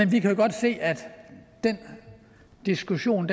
vi kan godt se at den diskussion